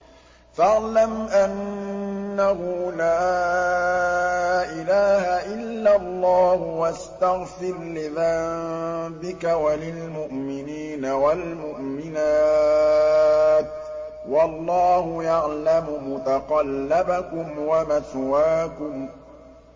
فَاعْلَمْ أَنَّهُ لَا إِلَٰهَ إِلَّا اللَّهُ وَاسْتَغْفِرْ لِذَنبِكَ وَلِلْمُؤْمِنِينَ وَالْمُؤْمِنَاتِ ۗ وَاللَّهُ يَعْلَمُ مُتَقَلَّبَكُمْ وَمَثْوَاكُمْ